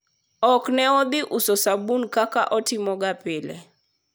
ok ne odhi uso sabun kaka otimo ga pile